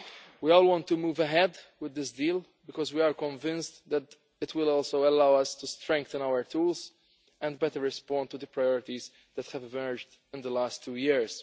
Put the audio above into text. We all want to move ahead with this deal because we are convinced that it will also allow us to strengthen our tools and better respond to the priorities that have emerged in the last two years.